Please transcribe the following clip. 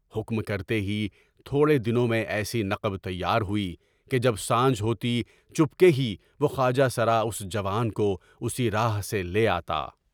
حکم کرتے ہی تھوڑے دنوں میں ایسی نقب تیار ہوئی کہ جب سانجھ ہوتی تو چپکے ہی وہ خواجہ سر اس جوان کو اسی راہ سے لے آتا۔